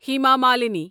Hima Malini